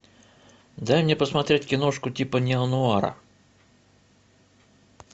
дай мне посмотреть киношку типа неонуара